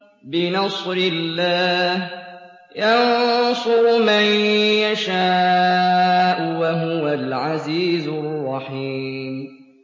بِنَصْرِ اللَّهِ ۚ يَنصُرُ مَن يَشَاءُ ۖ وَهُوَ الْعَزِيزُ الرَّحِيمُ